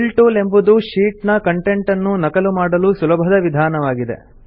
fill tool ಎಂಬುದು sheet ನ content ನ್ನು ನಕಲು ಮಾಡಲು ಸುಲಭದ ವಿಧಾನವಾಗಿದೆ